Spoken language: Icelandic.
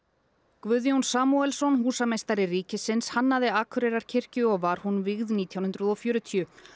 Guðjón Samúelsson húsameistari ríkisins hannaði Akureyrarkirkju og var hún vígð nítján hundruð og fjörutíu